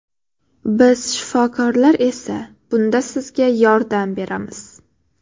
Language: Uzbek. Biz shifokorlar esa bunda sizga yordam beramiz.